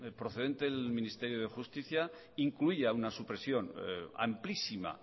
procedente del ministerio de justicia incluía una supresión amplísima